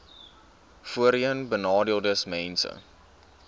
voorheenbenadeeldesmense